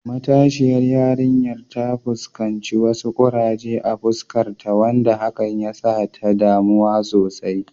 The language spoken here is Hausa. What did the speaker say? Matasiyar yarinyar ta fuskanci wasu kuraje a fuskarta, wanda hakan ya sa ta damu sosai.